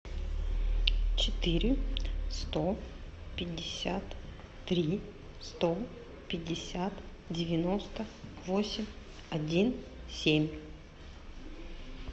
четыре сто пятьдесят три сто пятьдесят девяносто восемь один семь